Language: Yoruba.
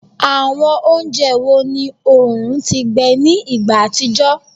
Awọn ounjẹ wo ni oorun ti gbẹ ni igba atijọ?